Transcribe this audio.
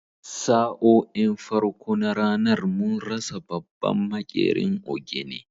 Sa'o'in farko na ranar mun rasa babban maƙerin ogene